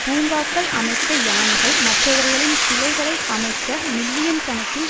பூங்காக்கள் அமைக்க யானைகள் மற்றவர்களின் சிலைகளை அமைக்க மில்லியன் கணக்கில்